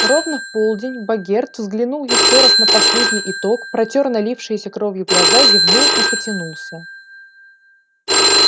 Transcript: ровно в полдень богерт взглянул ещё раз на последний итог протёр налившиеся кровью глаза зевнул и потянулся